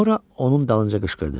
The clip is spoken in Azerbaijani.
Sonra onun dalınca qışqırdı: